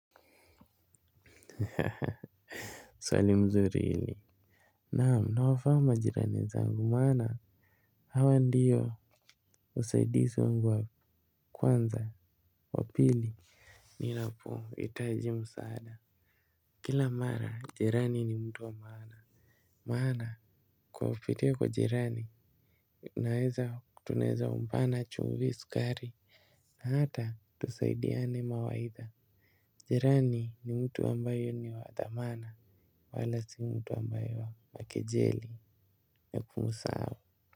Swali mzuri hili naam nawafahamu majirani zangu maana hawa ndiyo usaidizi wangu wa kwanza wa pili. Ninapohitaji msaada kila mara jirani ni mtu wa maana. Maana kwa kupitia kwa jirani naweza tunaweza ombana chumvi sukari na hata tusaidiane mawaidha. Jirani ni mtu ambaye ni wa dhamana. Wala si mtu ambaye wa kejeli na kumsahau.